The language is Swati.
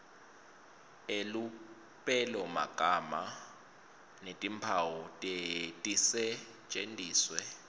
elupelomagama netimphawu tisetjentiswe